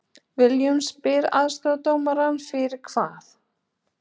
Willum spyr aðstoðardómarann fyrir hvað????